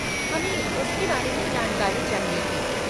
हमे उसके बारे में जानकारी चाहिए थी।